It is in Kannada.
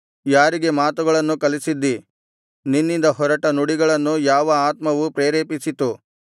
ಯಾರಿಗೆ ಮಾತುಗಳನ್ನು ಕಲಿಸಿದ್ದಿ ನಿನ್ನಿಂದ ಹೊರಟ ನುಡಿಗಳನ್ನು ಯಾವ ಆತ್ಮವು ಪ್ರೇರೇಪಿಸಿತು